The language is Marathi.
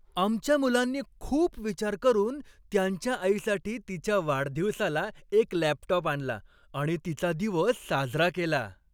आमच्या मुलांनी खूप विचार करून त्यांच्या आईसाठी तिच्या वाढदिवसाला एक लॅपटॉप आणला आणि तिचा दिवस साजरा केला.